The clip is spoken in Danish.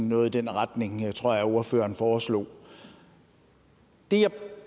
noget i den retning det tror jeg at ordføreren foreslog det jeg